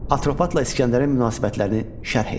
Atropatla İsgəndərin münasibətlərini şərh edin.